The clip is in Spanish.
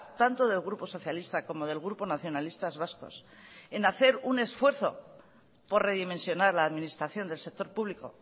tanto del grupo socialista como del grupo nacionalistas vascos en hacer un esfuerzo por redimensionar la administración del sector público